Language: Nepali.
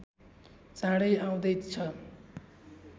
चाँडै आउँदैछ